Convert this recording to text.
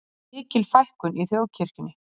Mikil fækkun í þjóðkirkjunni